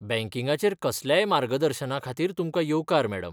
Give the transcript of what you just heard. बँकिंगाचेर कसल्याय मार्गदर्शना खातीर तुमकां येवकार, मॅडम.